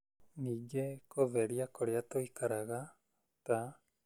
Ningĩ, kũtheria kũrĩa tũikaraga, ta